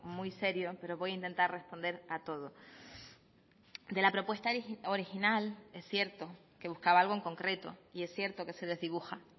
muy serio pero voy a intentar responder a todo de la propuesta original es cierto que buscaba algo en concreto y es cierto que se desdibuja